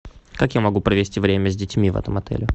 как я могу провести время с детьми в этом отеле